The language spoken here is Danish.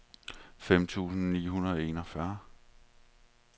fem tusind ni hundrede og enogfyrre